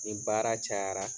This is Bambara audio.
Nin baara cayara